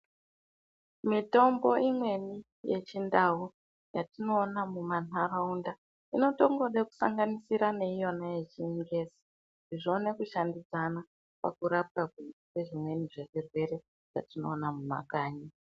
Mitombo imweni yechi ndau yatino ona muma nharaunda inoto ngode ku sanganisira ne iyona yechi ngezi kuti zvione ku shandi dzana paku rapwa kwe zvimweni zve zvirwere zvatino ona mu makanyi.